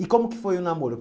E como que foi o namoro?